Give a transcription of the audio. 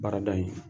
Baarada in